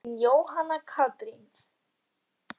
Þín, Jóhanna Katrín.